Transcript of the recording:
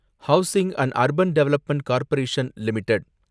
housing and urban development corporation limited